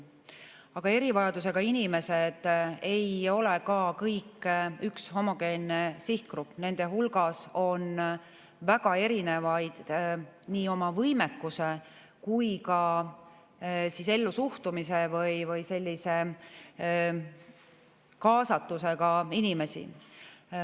Aga erivajadusega inimesed ei ole ka kõik üks homogeenne sihtgrupp, nende hulgas on väga erinevaid nii oma võimekuse kui ka ellusuhtumise või kaasatusega inimesi.